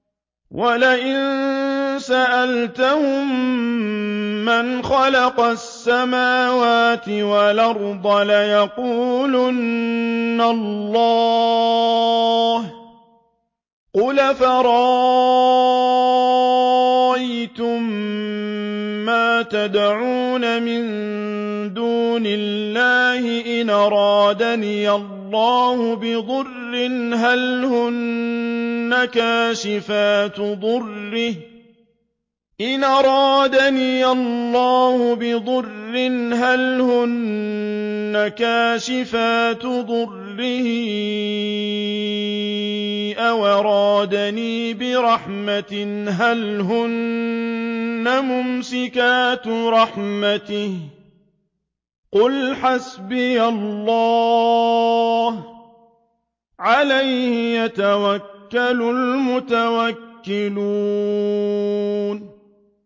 وَلَئِن سَأَلْتَهُم مَّنْ خَلَقَ السَّمَاوَاتِ وَالْأَرْضَ لَيَقُولُنَّ اللَّهُ ۚ قُلْ أَفَرَأَيْتُم مَّا تَدْعُونَ مِن دُونِ اللَّهِ إِنْ أَرَادَنِيَ اللَّهُ بِضُرٍّ هَلْ هُنَّ كَاشِفَاتُ ضُرِّهِ أَوْ أَرَادَنِي بِرَحْمَةٍ هَلْ هُنَّ مُمْسِكَاتُ رَحْمَتِهِ ۚ قُلْ حَسْبِيَ اللَّهُ ۖ عَلَيْهِ يَتَوَكَّلُ الْمُتَوَكِّلُونَ